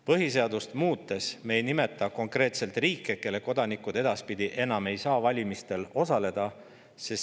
Põhiseadust muutes ei nimeta me konkreetseid riike, kelle kodanikud edaspidi ei saa enam valimistel osaleda.